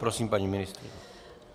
Prosím, paní ministryně.